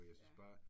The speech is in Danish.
Ja